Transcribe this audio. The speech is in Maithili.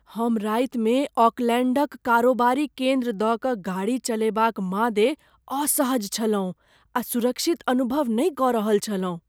हम रातिमे ओकलैण्डक कारोबारी केन्द्र दऽ कऽ गाड़ी चलएबाक मादे असहज छलहुँ आ सुरक्षित अनुभव नहि कऽ रहल छलहुँ।